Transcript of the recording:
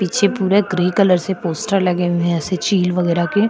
पीछे पूरे grey colour से पोस्टर लगे हुए हैं ऐसे चील वगैरा के --